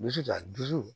Dusu ta dusu